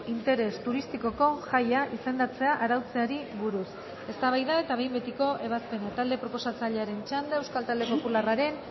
interes turistikoko jaia izendatzea arautzeari buruz eztabaida eta behin betiko ebazpena talde proposatzailearen txanda euskal talde popularraren